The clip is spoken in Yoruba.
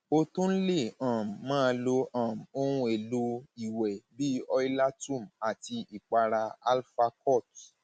a tún lè um máa lo um ohunèlò ìwẹ bíi oilatum àti ìpara alfacort